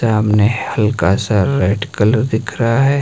सामने हल्का सा रेड कलर दिख रहा है।